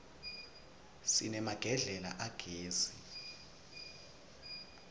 sinemagedlela agezi